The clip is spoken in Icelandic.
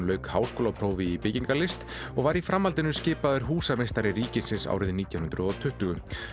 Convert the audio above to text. lauk háskólaprófi í byggingarlist og var í framhaldinu skipaður húsameistari ríkisins árið nítján hundruð og tuttugu